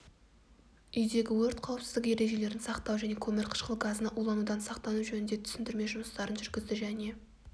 үйдегі өрт қауіпсіздігі ережелерін сақтау және қөмірқышқыл газына уланудан сақтану жөнінде түсіндірме жұмыстарын жүргізді және